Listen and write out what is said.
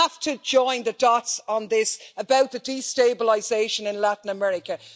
We have to join the dots on this about the destabilisation in Latin America.